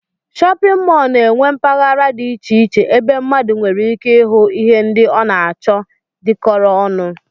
Shọpịn mọl na-enwe mpaghara dị iche iche ebe mmadụ nwereike ịhụ ihe ndị ọ na-achọ dịkọrọ ọnụ